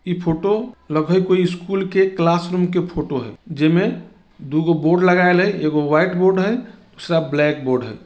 इ फ़ोटो लगइ हय कोई स्कूल के क्लासरूम के फ़ोटो हय जे में दुगो बोर्ड लगायल हय एगो वाइट बोर्ड हय दूसरा ब्लैक बोर्ड हय।